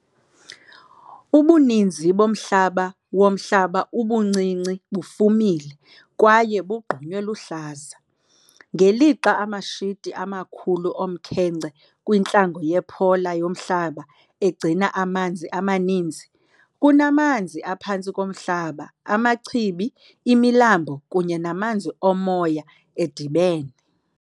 Ubuninzi bomhlaba womhlaba ubuncinci bufumile kwaye bugqunywe luhlaza, ngelixa amashiti amakhulu omkhenkce kwintlango yePolar yoMhlaba egcina amanzi amaninzi kunamanzi aphantsi komhlaba, amachibi, imilambo kunye namanzi omoya edibene.